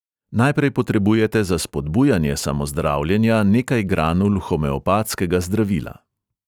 Najprej potrebujete za spodbujanje samozdravljenja nekaj granul homeopatskega zdravila.